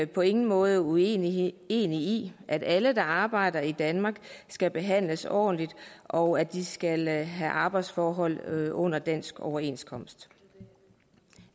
på ingen måde uenige i at alle der arbejder i danmark skal behandles ordentligt og at de skal have arbejdsforhold under dansk overenskomst